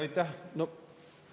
Aitäh!